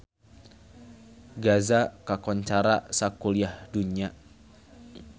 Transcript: Gaza kakoncara sakuliah dunya